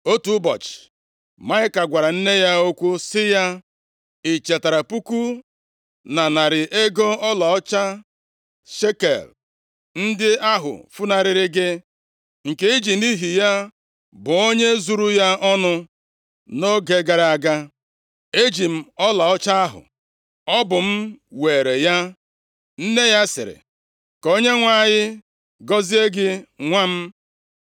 Otu ụbọchị, Maịka gwara nne ya okwu sị ya, “I chetara puku na narị ego ọlaọcha shekel ndị ahụ funarịrị gị, nke i ji nʼihi ya bụọ onye zuru ya ọnụ nʼoge gara aga? Eji m ọlaọcha ahụ. Ọ bụ m weere ya.” Nne ya sịrị, “Ka Onyenwe anyị gọzie gị nwa m!”